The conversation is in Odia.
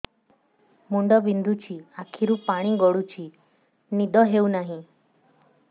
ମୁଣ୍ଡ ବିନ୍ଧୁଛି ଆଖିରୁ ପାଣି ଗଡୁଛି ନିଦ ହେଉନାହିଁ